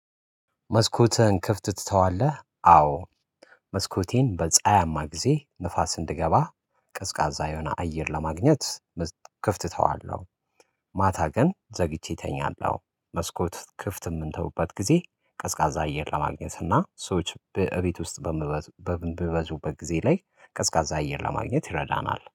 መስኮትህን ክፍት ትተዋለህ? አዎ። መስኮቴን በፀሀያማ ጊዜ ንፋስ እንድገባ ቀዝቃዛ የሆነ አየር ለማግኘት ክፍት እተዋለሁ። ማታ ግን ዘግቼ እተኛለሁ። መስኮት ክፍት የምንተውበት ጊዜ ቀዝቃዛ አየር ለማግኘት እና ሰዎች በእቤት ውስጥ በምበዙበት በጊዜ ላይ ቀዝቃዛ አየር ለማግኘት ይረዳናል